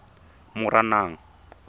moranang